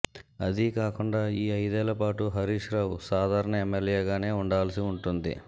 అదీ కాకుండా ఈ ఐదేళ్ల పాటు హరీశ్ రావు సాధారణ ఎమ్మెల్యేగానే ఉండాల్సి ఉంటుంది